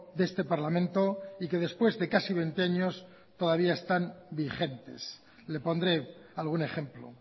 de este parlamento y que después de casi veinte años todavía están vigentes le pondré algún ejemplo